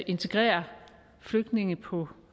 integrere flygtninge på